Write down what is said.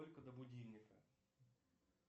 сколько до будильника